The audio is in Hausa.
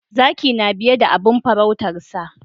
Zaki na biye da abin faruutarsa